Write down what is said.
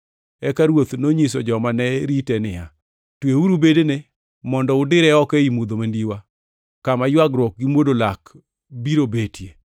“Eka ruoth nonyiso joma ne rite ni, ‘Tweuru bedene mondo udire oko ei mudho mandiwa, kama ywagruok gi mwodo lak biro betie.’